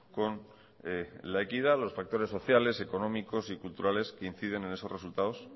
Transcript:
con la equidad los factores sociales económicos y culturales que inciden en esos resultados